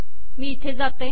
मी इथे जाते